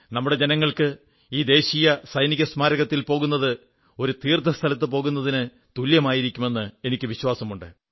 നമ്മുടെ ജനങ്ങൾക്ക് ഈ ദേശീയ സൈനിക സ്മാരകത്തിൽ പോകുന്നത് ഒരു തീർത്ഥാടനസ്ഥലത്തു പോകുന്നതിനു തുല്യമായിരിക്കുമെന്ന് എനിക്കു വിശ്വാസമുണ്ട്